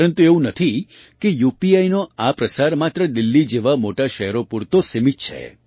પરંતુ એવું નથી કે યુપીઆઈનો આ પ્રસાર માત્ર દિલ્લી જેવાં મોટાં શહેરો પૂરતો જ સીમિત છે